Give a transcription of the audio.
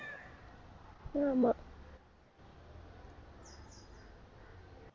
ஆமா